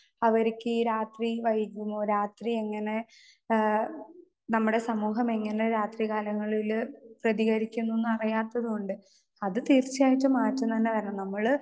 Speaker 2 അവർക്കീ രാത്രി വൈകുമോ രാത്രി എങ്ങനെ ഏ നമ്മുടെ സമൂഹമെങ്ങനെ രാത്രി കാലങ്ങളില് പ്രതികരിക്കുന്നൂന്നറിയാത്തോണ്ട് അത് തീർച്ചയായിട്ടും മാറ്റം തന്നെ വരണം നമ്മള്.